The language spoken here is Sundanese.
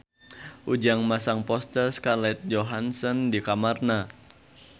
Ujang masang poster Scarlett Johansson di kamarna